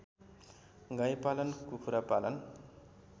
गाईपालन कुखुरा पालन